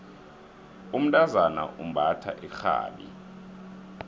umntazana umbatha irhabi